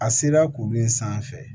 A sela k'olu sanfɛ